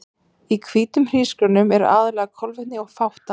Í hvítum hrísgrjónum eru aðallega kolvetni og fátt annað.